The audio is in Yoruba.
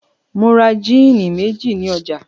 Mo ra jíínì méjì ní ọjà.